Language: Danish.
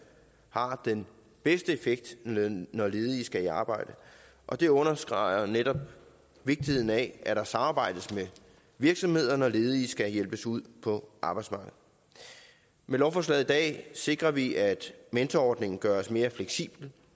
har den bedste effekt når ledige skal i arbejde og det understreger netop vigtigheden af at der samarbejdes med virksomheder når ledige skal hjælpes ud på arbejdsmarkedet med lovforslaget i dag sikrer vi at mentorordningen gøres mere fleksibel